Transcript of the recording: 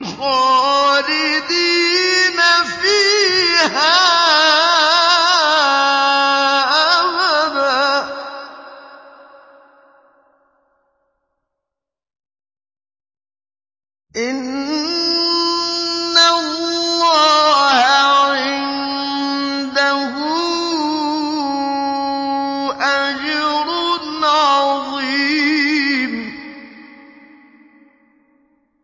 خَالِدِينَ فِيهَا أَبَدًا ۚ إِنَّ اللَّهَ عِندَهُ أَجْرٌ عَظِيمٌ